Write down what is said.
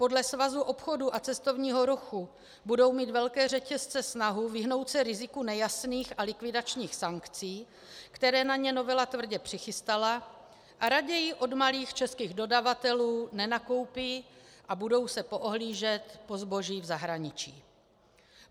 Podle Svazu obchodu a cestovního ruchu budou mít velké řetězce snahu vyhnout se riziku nejasných a likvidačních sankcí, které na ně novela tvrdě přichystala, a raději od malých českých dodavatelů nenakoupí a budou se poohlížet po zboží v zahraničí.